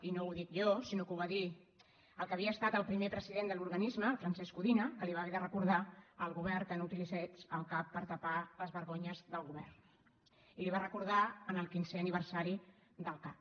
i no ho dic jo sinó que ho va dir el que havia estat el primer president de l’organisme en francesc codina que va haver de recordar al govern que no utilitzés el cac per tapar les vergonyes del govern i li ho va recordar en el quinzè aniversari del cac